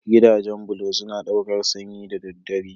Gidajen bulo suna ɗaukar sanyi da daddare.